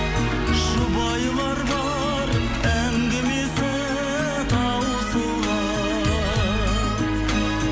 жұбайлар бар әңгімесі таусылған